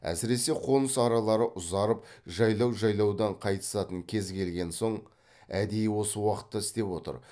әсіресе қоныс аралары ұзарып жайлау жайлаудан қайтысатын кез келген соң әдейі осы уақытта істеп отыр